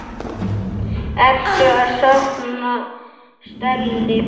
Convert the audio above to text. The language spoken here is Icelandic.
Ertu að safna stelli?